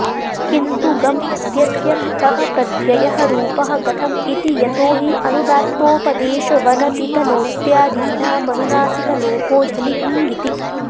किन्तु गम् इत्यस्य क्तः प्रत्ययः रूपः गतम् इति यतो हि अनुदात्तोपदेशवनतितनोत्यादीनामनुनासिक लोपो झलि क्ङिति